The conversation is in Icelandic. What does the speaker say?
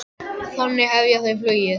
Þannig hefja þau flugið.